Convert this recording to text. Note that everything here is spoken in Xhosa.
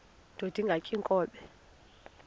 indod ingaty iinkobe